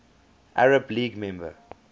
arab league member